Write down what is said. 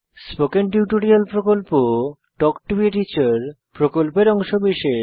spoken tutorial প্রকল্প talk to a teacher প্রকল্পের অংশবিশেষ